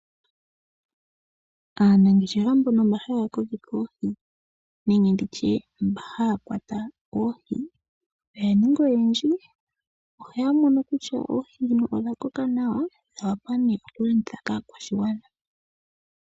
Aanangeshefa mbono haya kokeke oohi nenge haya kwata oohi oya ninga oyendji, na uuna yamono kutya oohi odha koka nawa ohaye dhi landitha po kaakwashigwana.